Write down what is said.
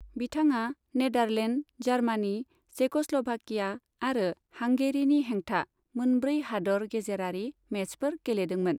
बिथाङा Netherland, Germany, Czechoslovakia आरो हांगेरीनि हेंथा मोनब्रै हादोर गेजेरारि मेचफोर गेलेदोंमोन।